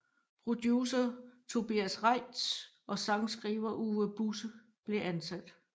Producer Tobias Reitz og sangskriver Uwe Busse blev ansat